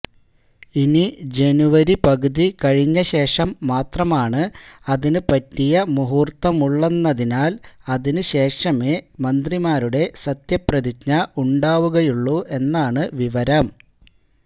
ഇനി ജനുവരി പകുതി കഴിഞ്ഞശേഷം മാത്രമാണ് അതിന് പറ്റിയ മുഹൂർത്തമുള്ളെന്നതിനാല് അതിന് ശേഷമേ മന്ത്രിമാരുടെ സത്യപ്രതിജ്ഞ ഉണ്ടാവുകയുള്ളൂ എന്നാണ് വിവരം